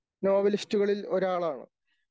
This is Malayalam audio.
നോവലിസ്റ്റുകളിൽ ഒരാളാണ്